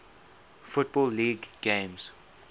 football league games